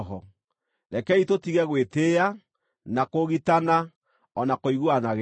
Rekei tũtige gwĩtĩĩa, na kũũgitana, o na kũiguanagĩra ũiru.